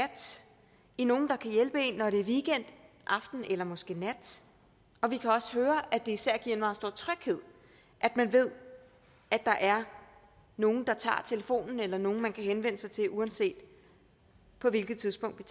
i nogen der kan hjælpe en når det er en weekend aften eller måske nat vi kan også høre at det især giver meget stor tryghed at man ved at der er nogen der tager telefonen eller nogen som man kan henvende sig til uanset hvilket tidspunkt vi